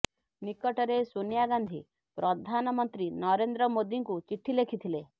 ନିକଟରେ ସୋନିଆ ଗାନ୍ଧି ପ୍ରଧାନମନ୍ତ୍ରୀ ନରେନ୍ଦ୍ର ମୋଦିଙ୍କୁ ଚିଠି ଲେଖିଥିଲେ